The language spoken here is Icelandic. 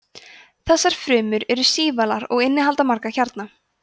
þessar frumur eru sívalar og innihalda marga kjarna